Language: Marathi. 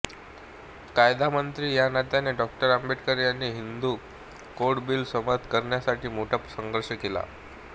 कायदामंत्री या नात्याने डॉ आंबेडकर यांनी हिंदू कोड बिल संमत करण्यासाठी मोठा संघर्ष केला